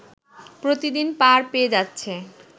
প্রতিদিন পার পেয়ে যাচ্ছে